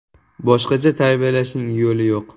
Boshqacha tarbiyalashning yo‘li yo‘q.